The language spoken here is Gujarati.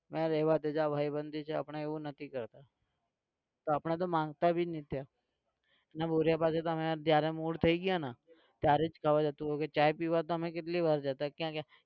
ના રહેવા દે જા ભાઈબંધી છે આપણે એવું નથી કરતા તો આપણે તો માંગતા भी નહિ ત્યાં અને ભુરીયા પાસે તો અમે જયારે mood થઇ ગયોને ત્યારે જ ખાવા જતું રહેવું કે ચા પીવા તો અમે કેટલી વાર જતા ક્યાં ક્યાં